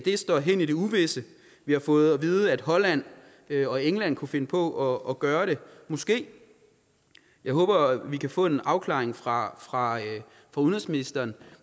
står hen i det uvisse vi har fået at vide at holland og england kunne finde på at gøre det måske jeg håber at vi kan få en afklaring fra fra udenrigsministeren